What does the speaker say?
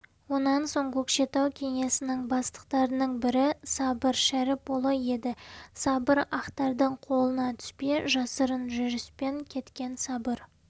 онан соң көкшетау кеңесінің бастықтарының бірі сабыр шәріпұлы еді сабыр ақтардың қолына түспей жасырын жүріспен кеткен сабыр